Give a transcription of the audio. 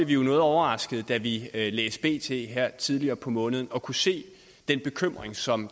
vi noget overraskede da vi læste bt her tidligere på måneden og kunne se den bekymring som